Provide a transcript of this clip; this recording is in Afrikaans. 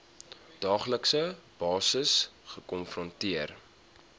daaglikse basis gekonfronteer